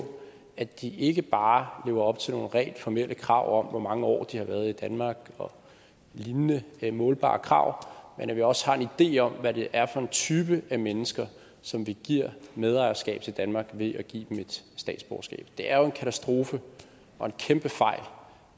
at de ikke bare lever op til nogle rent formelle krav om hvor mange år de har været i danmark og lignende målbare krav men at vi også har en idé om hvad det er for en type af mennesker som vi giver medejerskab til danmark ved at give dem et statsborgerskab det er jo en katastrofe og en kæmpe fejl